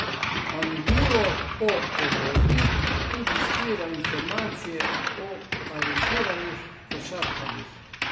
Angulo po Evropi tudi zbira informacije o talentiranih košarkarjih.